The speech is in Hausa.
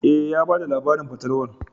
E, ya ba da labarin fatalwar.